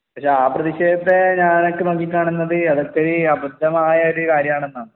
പക്ഷേ ആ പ്രതിഷേധത്തെ ഞാൻ ഒക്കെ നോക്കിക്കാണുന്നത് അത് അത്രേം അബദ്ധമായ ഒരു കാര്യം ആണെന്നാണ്